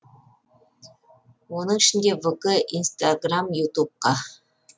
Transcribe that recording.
оның ішінде вк инстаграм ютубқа